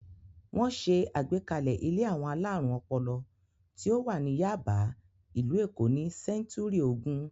Wọ́n ṣe àgbékalẹ̀ ilé àwọn alárùn ọpọlọ tí ó wà ní Yáàbá, ìlú Èkó ní sẹ́ńtúrì ogún.